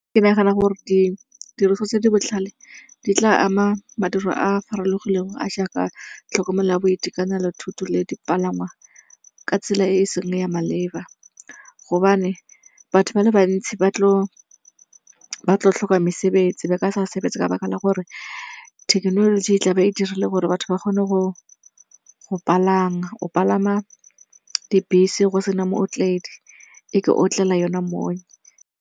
Ke nagana gore ditiriso tse di botlhale di tla ama madiro a a farologile go a a jaaka tlhokomelo ya boitekanelo, thuto le dipalangwa ka tsela e e seng ya maleba. Gobane batho ba le bantsi ba tlo tlhoka mesebetsi, ba ka sa sebetse ka baka la gore thekenoloji e tla be e dirile gore batho ba kgone go palama. Go palama dibese go sena mootledi, e ke otlela yona mo.